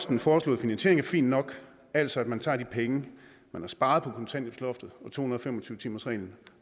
den foreslåede finansiering er fin nok altså at man tager de penge man har sparet på kontanthjælpsloftet og to hundrede og fem og tyve timersreglen